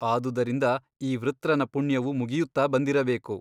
ಆದುದರಿಂದ ಈ ವೃತ್ರನ ಪುಣ್ಯವು ಮುಗಿಯುತ್ತಾ ಬಂದಿರಬೇಕು.